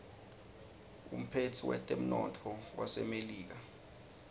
umphetsi wetemnotto wasemelika